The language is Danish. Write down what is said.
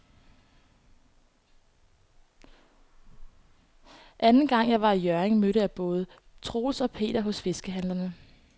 Anden gang jeg var i Hjørring, mødte jeg både Troels og Per hos fiskehandlerne.